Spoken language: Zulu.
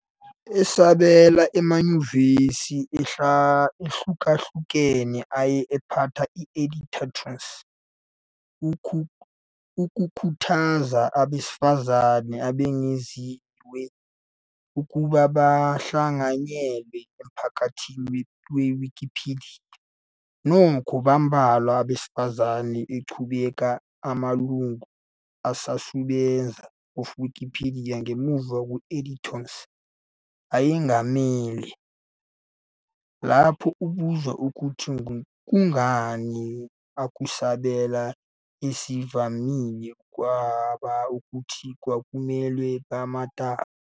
Esabela, amanyuvesi ahlukahlukene aye aphatha edit-a-thons ukukhuthaza abesifazane abengeziwe ukuba bahlanganyele emphakathini Wikipedia. Nokho, bambalwa abesifazane aqhubeka amalungu usasebenza of Wikipedia ngemuva edit-a-thons ayengamele. Lapho ebuzwa ukuthi kungani, ukusabela ezivamile kwaba ukuthi kwakumelwe 'bematasa ".